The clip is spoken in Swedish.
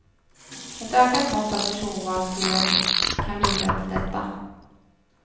Ett ökat mått av personval tror jag kan bidra till detta.